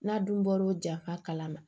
N'a dun bɔr'o ja ka kalama